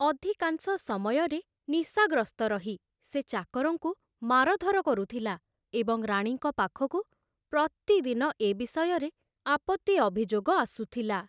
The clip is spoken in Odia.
ଅଧିକାଂଶ ସମୟରେ ନିଶାଗ୍ରସ୍ତ ରହି ସେ ଚାକରଙ୍କୁ ମାରଧର କରୁଥିଲା ଏବଂ ରାଣୀଙ୍କ ପାଖକୁ ପ୍ରତିଦିନ ଏ ବିଷୟରେ ଆପତ୍ତି ଅଭିଯୋଗ ଆସୁଥିଲା।